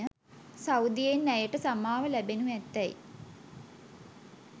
සෞදියෙන් ඇයට සමාව ලැබෙනු ඇතැයි